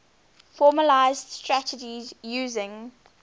formalised strategies using